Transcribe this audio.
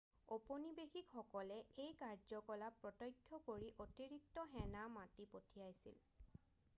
ঔপনিৱেসিকসকলে এই কাৰ্য্যকলাপ প্ৰত্যক্ষ কৰি অতিৰিক্ত সেনা মাতি পঠিয়াইছিল